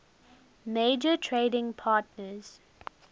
major trading partners